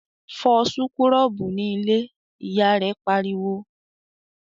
"Fọ súkúrọ́bù ní ilé!", Ìyá rẹ̀ pariwo